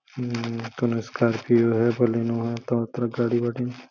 इ कउनो स्कार्पियो ह। बलेनो ह तरह तरह के गाडी बाटे।